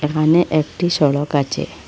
এখানে একটি সড়ক আছে।